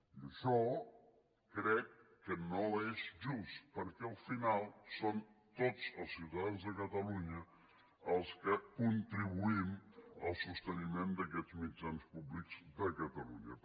i això crec que no és just perquè al final som tots els ciutadans de catalunya els que contribuïm al sosteniment d’aquests mitjans públics de catalunya